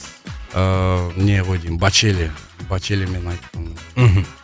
ыыы не ғой деймін бачелия бачелиямен айттым мхм